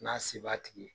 N'a se b'a tigi ye